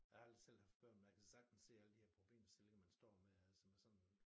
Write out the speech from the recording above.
Jeg har aldrig selv haft børn men jeg kan sagtens se alle de her problemstillinger man står med altså med sådan